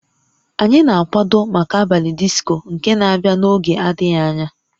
Anyị na-akwado maka abalị disco nke na-abịa n'oge adịghị anya